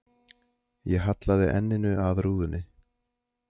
Ég hallaði enninu að rúðunni.